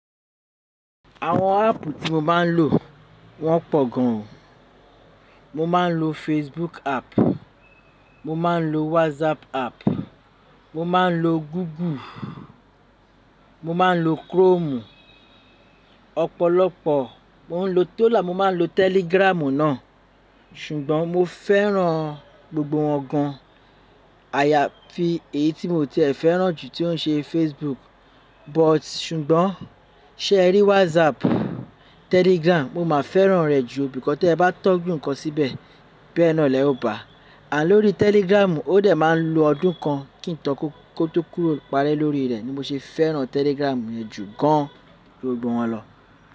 Àwọn app tí mo máa ń lò wọ́n pọ̀ gan. Mo máa ń lo Facebook app, mo máa ń lo WhatsApp app, mo máa ń lo Google, mo máa ń lo Chrome. Ọ̀pọ̀lọpọ̀ mo ń lo to la, mo máa ń lo Telegram náà. Ṣùgbọ́n mo fẹ́ràn gbogbo wọn gan. Àyàfi èyí tí mo ti e fẹ́ràn jù tí ó ń ṣe Facebook. But ṣùgbọ́n ṣe ẹ rí WhatsApp, Telegram, mo máa fẹ́ràn rẹ̀ jù. Ǹkan tí ẹ bá tọ́ ju nǹkan síbẹ̀, bẹ́ẹ̀ náà lẹ ó bá. And lórí telegram, ó dẹ̀ máa ń lo ọdún kan kí ǹkan kó tó kúrò- parẹ́ lo ri re, ni mo ṣe fẹ́ràn telegram yẹn jù gan, ju gbogbo wọn lọ.